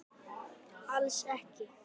Alls ekki!